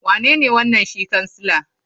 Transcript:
Wanene wanan shi kansila?